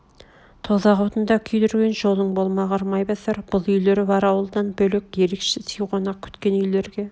тозақ отында күйдірген жолың болмағыр майбасар бұл үйлер бар ауылдан бөлек ерекше сый қонақ күткен үйлерге